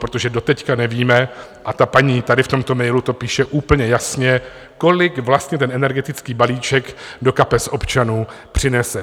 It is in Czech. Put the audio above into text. Protože doteď nevíme, a ta paní tady v tomto mailu to píše úplně jasně, kolik vlastně ten energetický balíček do kapes občanů přinese.